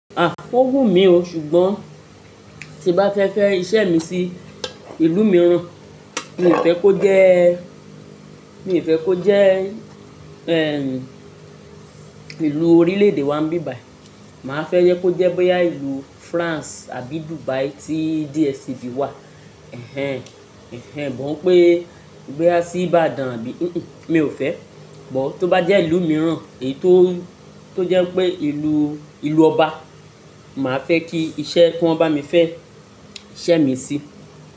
À, ó wù mí o, ṣùgbọ́n tí bá fẹ́ fẹ́ iṣẹ́ mi sí ìlú mìíràn, mi ò fẹ́ kó jẹ́, mi ò fẹ́ kó jẹ́ ẹ́ ìlú orílẹ̀-èdè wa bíbàì. Màá fẹ́ jẹ́ kó jẹ́ bóyá ìlú France àbí Dubai tí DSCB wà. Ẹ̀hẹn, ẹ̀hẹn, gbọ́n pé gbígbá sí Ìbàdàn àbí, kìí n, mi ò fẹ́. Ọ̀, tó bá jẹ́ ìlú mìíràn èyí tó, tó jẹ́ pé ìlú, ìlú ọba, màá fẹ́ kí iṣẹ́ kí wọ́n bá mi fẹ́ iṣẹ́ mi sí.